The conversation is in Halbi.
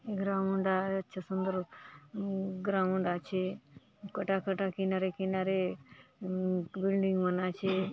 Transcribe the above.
ग्राउण्ड आय अच्छा सुंदर ग्राउण्ड आचे कटा - कटा किनारे - किनारे बिल्डिंग मन आचे।